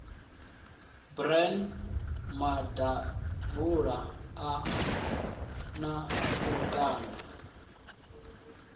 bran maḓabula a na lukanda